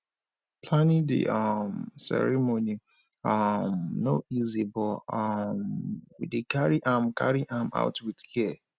planning di um ceremony um no easy but um we dey carry am carry am out with care